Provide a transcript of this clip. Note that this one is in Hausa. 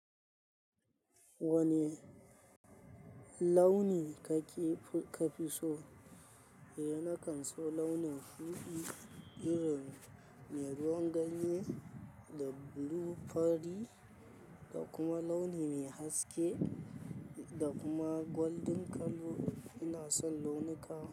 Wane launi kake kafi so. Eh, na kan so launin shuɗi, irin mai ruwan ganye da blue fari da kuma launi mai haske da kuma golden colour. Ina son launuka.